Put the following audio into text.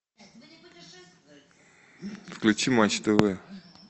включи матч тв